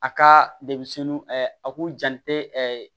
A ka denmisɛnnin a k'u jantɛ